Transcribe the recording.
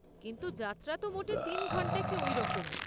কিন্তু যাত্রা তো মোটে তিন ঘণ্টা কী ওই রকম।